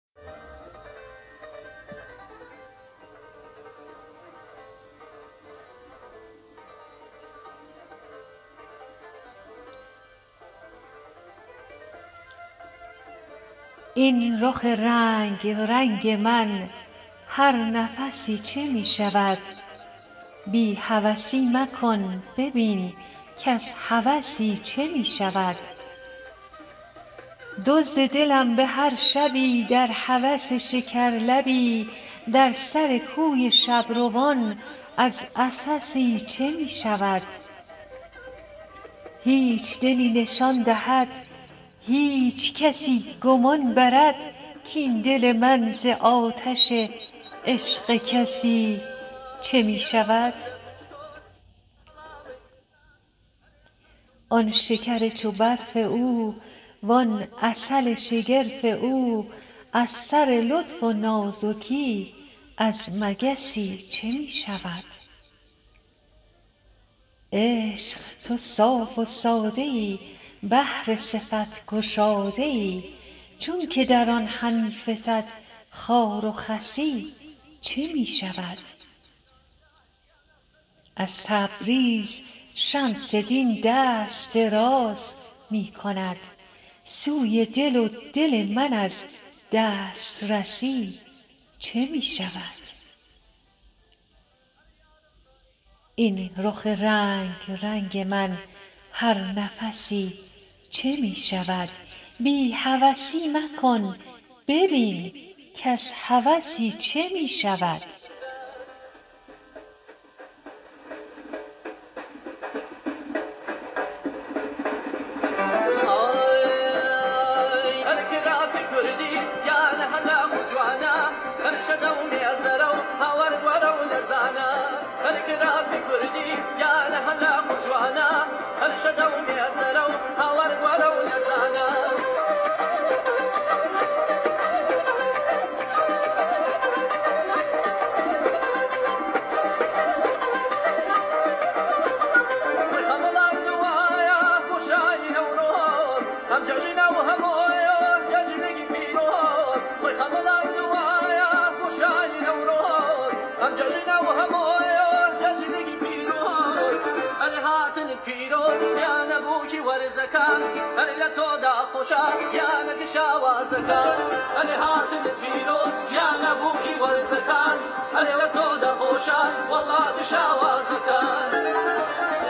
این رخ رنگ رنگ من هر نفسی چه می شود بی هوسی مکن ببین کز هوسی چه می شود دزد دلم به هر شبی در هوس شکرلبی در سر کوی شب روان از عسسی چه می شود هیچ دلی نشان دهد هیچ کسی گمان برد کاین دل من ز آتش عشق کسی چه می شود آن شکر چو برف او وان عسل شگرف او از سر لطف و نازکی از مگسی چه می شود عشق تو صاف و ساده ای بحر صفت گشاده ای چونک در آن همی فتد خار و خسی چه می شود از تبریز شمس دین دست دراز می کند سوی دل و دل من از دسترسی چه می شود